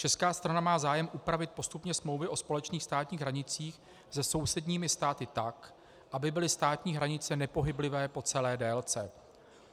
Česká strana má zájem upravit postupně smlouvy o společných státních hranicích se sousedními státy tak, aby byly státní hranice nepohyblivé po celé délce.